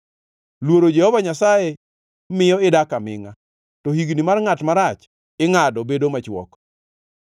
Luoro Jehova Nyasaye miyo idak amingʼa, to higni mar ngʼat marach ingʼado bedo machwok.